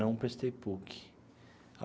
Não prestei PUC.